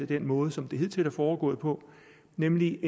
den måde som det hidtil er foregået på nemlig